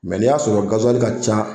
Mɛ n'i y'a sɔrɔ gaziwali ka ca